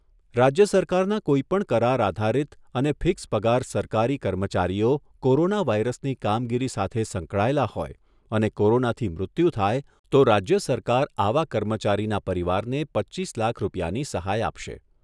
રાજ્ય સરકારના કોઈપણ કરાર આધારીત અને ફિક્સ પગાર સરકારી કર્મચારીઓ કોરોના વાયરસની કામગીરી સાથે સંકળાયેલા હોય અને કોરોનાથી મૃત્યુ થાય તો રાજ્ય સરકાર આવા કર્મચારીના પરિવારને પચ્ચીસ લાખ રૂપિયાની સહાય આપશે.